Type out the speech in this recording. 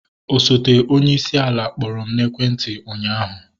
Osote onyeisi ala kpọrọ m n'ekwenti ụnyaahụ